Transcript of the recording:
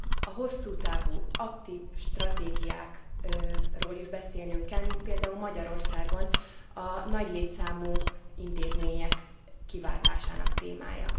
A hosszú távú, aktív stratégiákról is beszélnünk kell, mint például Magyarországon a nagy létszámú intézmények kiváltásának témájáról.